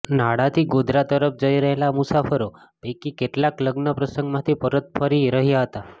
નાડાથી ગોધરા તરફ જઇ રહેલા મુસાફરો પૈકી કેટલાક લગ્ન પ્રસંગમાંથી પરત ફરી રહ્યા હતા